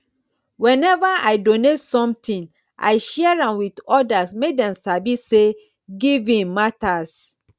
whenever i donate something i share am with others make dem sabi say giving matters